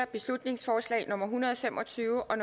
beslutningsforslag nummer hundrede og fem og tyve og